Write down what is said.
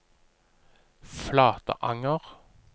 Flatanger